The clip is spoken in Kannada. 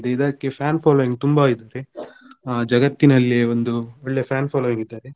ಇದಕ್ಕೆ fan following ತುಂಬಾ ಇದೆ ಆ ಜಗತ್ತಿನಲ್ಲಿಯೆ ಒಂದು ಒಳ್ಳೆ fan following ಇದ್ದಾರೆ.